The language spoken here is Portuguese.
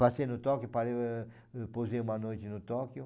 Passei no Tóquio, parei pousei uma noite no Tóquio.